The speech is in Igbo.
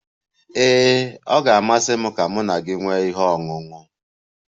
Ee, ọ ga-amasị m ka mụ na gị nwee ihe ọṅụṅụ.